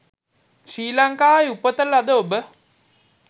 ශ්‍රී ලංකාවේ උපත ලද ඔබ